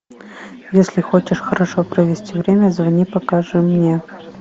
если хочешь хорошо провести время звони покажи мне